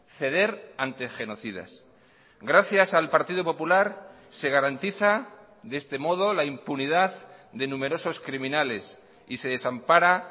ceder ante genocidas gracias al partido popular se garantiza de este modo la impunidad de numerosos criminales y se desampara